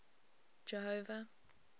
jehova